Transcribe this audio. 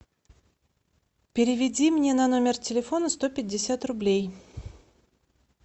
переведи мне на номер телефона сто пятьдесят рублей